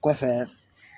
Kɔfɛ